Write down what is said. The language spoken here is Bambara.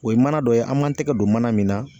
O ye mana dɔ ye, an m'an tɛgɛ don mana min na.